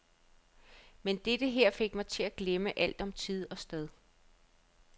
Men dette her fik mig til at glemme alt om tid og sted.